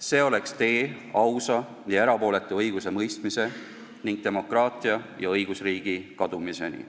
See oleks tee ausa ja erapooletu õigusemõistmise ning demokraatia ja õigusriigi kadumiseni.